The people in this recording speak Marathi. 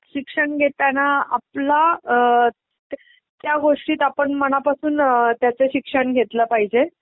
शिक्षण घेताना आपला अ त्या गोष्टीत आपण मनापासून त्याच शिक्षण घेतलं पहायजे